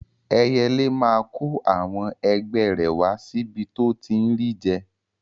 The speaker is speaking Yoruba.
Ẹyẹlé máa kó àwọn ẹgbẹ́ rẹ̀ wá síbi tó ti ń ri jẹ